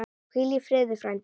Hvíl í friði, frændi.